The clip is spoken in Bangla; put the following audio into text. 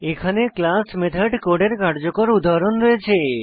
এখানে ক্লাস মেথড কোডের কার্যকর উদাহরণ রয়েছে